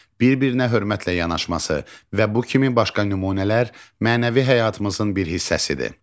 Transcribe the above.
Bir-birinə hörmətlə yanaşması və bu kimi başqa nümunələr mənəvi həyatımızın bir hissəsidir.